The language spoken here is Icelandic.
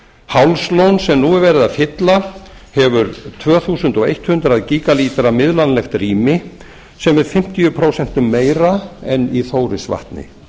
hálslón sem nú er verið fylla hefur tvö þúsund hundrað gígalítra miðlanlegt rými sem er fimmtíu prósentum meira en í þórisvatni